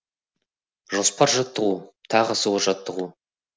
жоспар жаттығу тағы сол жаттығу